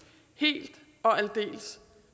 helt og aldeles